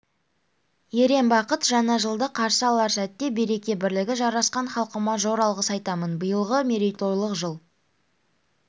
ерен бақыт жаңа жылды қарсы алар сәтте береке-бірлігі жарасқан халқыма зор алғыс айтамын биылғы мерейтойлық жыл